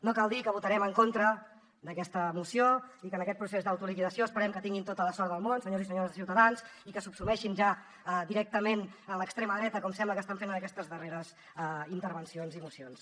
no cal dir que votarem en contra d’aquesta moció i que en aquest procés d’autoliquidació esperem que tinguin tota la sort del món senyors i senyores de ciutadans i que subsumeixin ja directament en l’extrema dreta com sembla que estan fent en aquestes darreres intervencions i mocions